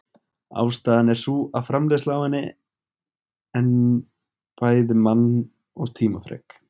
Ástæðan er sú að framleiðsla á henni en bæði mann- og tímafrek.